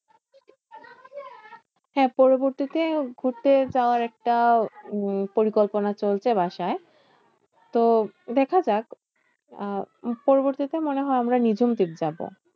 হ্যাঁ পরবর্তীতে ঘুরতে যাওয়ার একটা উম পরিকল্পনা চলছে বাসায়। তো দেখাযাক আহ পরবর্তীতে মনে হয় আমরা নিঝুম ঝিক যাবো?